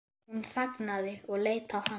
Hún þagnaði og leit á hann.